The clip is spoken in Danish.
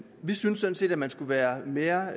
vi synes sådan set at man skulle være være